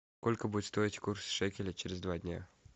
сколько будет стоить курс шекеля через два дня